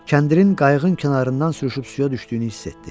Kəndirin qayığın kənarından sürüşüb suya düşdüyünü hiss etdi.